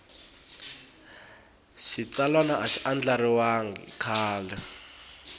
xitsalwana a xi andlariwangi kahle